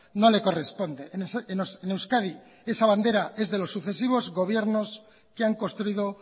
no le corresponde en euskadi esa bandera es de los sucesivos gobiernos que han construido